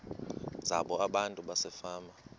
zabo abantu basefama